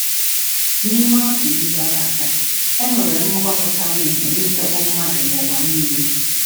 N’ime afọ iri gara aga, e nwere mmụba pụtara ìhè n’ịdọkpụ mmadụ n’ụwa niile.